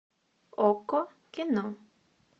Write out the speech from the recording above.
окко кино